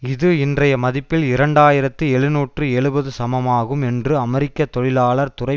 இது இன்றைய மதிப்பில் இரண்டு ஆயிரத்தி எழுநூற்றி எழுபது சமமாகும் என்று அமெரிக்க தொழிலாளர் துறை